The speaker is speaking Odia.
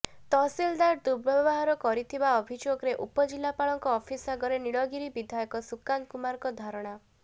ତହସିଲଦାର ଦୁର୍ବ୍ୟବହାର କରିଥିବା ଅଭିଯୋଗରେ ଉପଜିଲ୍ଲାପାଳଙ୍କ ଅଫିସ ଆଗରେ ନୀଳଗିରି ବିଧାୟକ ସୁକାନ୍ତ କୁମାରଙ୍କ ଧାରଣା